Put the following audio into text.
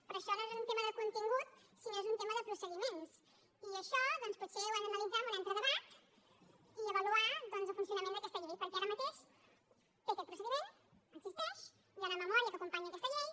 però això no és un tema de contingut sinó que és un tema de procediments i això doncs potser ho hem d’analitzar en un altre debat i avaluar el funcionament d’aquesta llei perquè ara mateix té aquest procediment existeix hi ha una memòria que acompanya aquesta llei